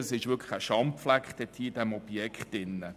Das ist wirklich ein Schandfleck inmitten dieses Objekts.